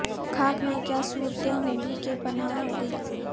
خاک میں کیا صورتیں ہوں گی کہ پنہاں ہوگئیں